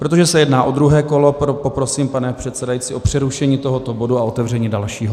Protože se jedná o druhé kolo, poprosím, pane předsedající, o přerušení tohoto bodu a otevření dalšího.